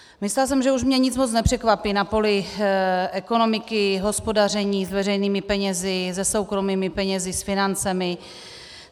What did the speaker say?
Myslela jsem, že už mě nic moc nepřekvapí na poli ekonomiky, hospodaření s veřejnými penězi, se soukromými penězi, s financemi.